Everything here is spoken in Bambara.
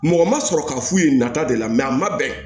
Mɔgɔ ma sɔrɔ k'a f'u ye nata de la a ma bɛn